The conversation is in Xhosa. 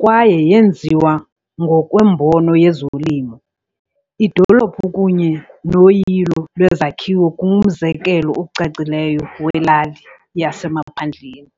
kwaye yenziwe ngokwembono yezolimo, idolophu kunye noyilo lwezakhiwo ngumzekelo ocacileyo welali "yasemaphandleni".